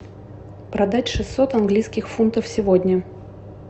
продать шестьсот английских фунтов сегодня